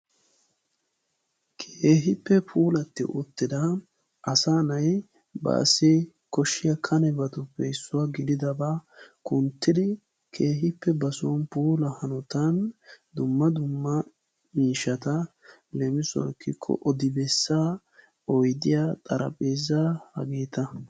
Keehippe puulatti uttida asaa na"ay baassi koshshiyaa kanebatuppe issuwa gididabaa kunttidi keehippe ba soon puula hanotan dumma dumma miishshata leemisuwawu ekkikko odi bessaa, oydiyaa, xarapheezaa hageeta.